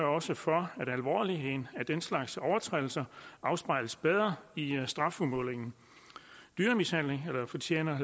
også for at det alvorlige ved den slags overtrædelser afspejles bedre i strafudmålingen dyremishandlere fortjener